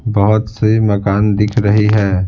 बहुत सी मकान दिख रही है।